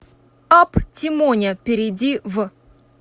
апп тимоня перейди в